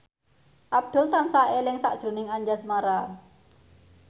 Abdul tansah eling sakjroning Anjasmara